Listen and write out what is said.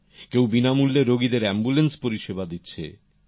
কেউ বিনা মূল্যে রোগীদের অ্যাম্বুল্যান্স পরিষেবা দিচ্ছে